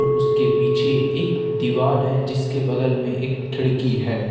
उसके पीछे एक दीवाल है जिसके बगल में एक खिड़की है।